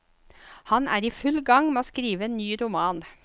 Han er i full gang med å skrive en ny roman.